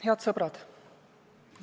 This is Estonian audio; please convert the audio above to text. Head sõbrad!